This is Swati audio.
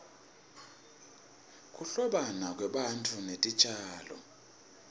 kuhlobana kwebantfu netitjalo